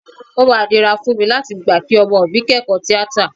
O máa nira fún mi láti gbà kí ọmọ mi kẹ́kọ̀ọ́ tíátà